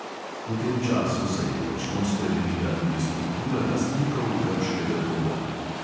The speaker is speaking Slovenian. V tem času se je močno spremenila tudi struktura lastnikov grškega dolga.